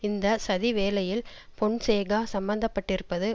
இந்த சதி வேலையில் பொன்சேகா சம்பந்தப்பட்டிருப்பது